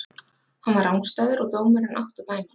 Hann var rangstæður og dómarinn átti að dæma það.